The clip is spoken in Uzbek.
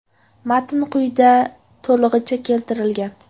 Matn quyida to‘lig‘icha keltirilgan.